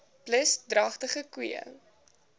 plus dragtige koeie